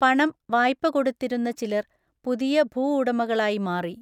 പണം വായ്പ കൊടുത്തിരുന്ന ചിലർ പുതിയ ഭൂഉടമകളായി മാറി.